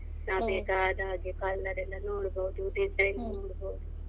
ನಾವ್ ಬೇಕಾದ ಹಾಗೆ colour ಎಲ್ಲ ನೋಡ್ಬಹುದು designs ನೋಡ್ಬೋದು.